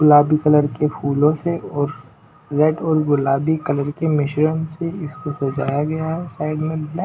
गुलाबी कलर के फूलों से और रेड और गुलाबी कलर के मिश्रण से इसको सजाया गया है।